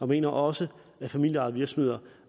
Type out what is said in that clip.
mener også at familieejede virksomheder